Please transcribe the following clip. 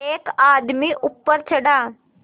एक आदमी ऊपर चढ़ा